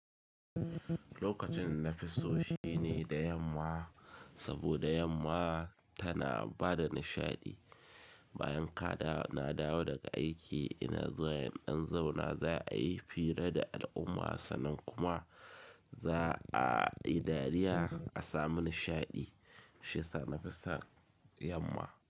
Lokacin nafi so shine da yamma, saboda yamma tana bada nishaɗi. Bayan ka na dawo daga aiki ina zuwa ƴan zauna za a yi hira da al'umma, sannan kuma za a yi dariya a sami nishaɗi. Shiyasa nafi son yamma.